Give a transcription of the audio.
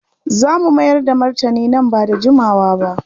Za mu mayar da martani nan ba da jimawa ba.